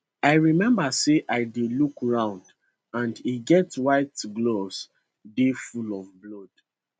i remember say i dey look round and e get white gloves dey full of blood